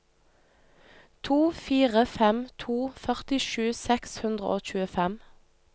to fire fem to førtisju seks hundre og tjuefem